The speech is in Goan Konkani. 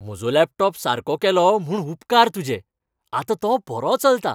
म्हजो लॅपटॉप सारको केलो म्हूण उपकार तुजे. आतां तो बरो चलता.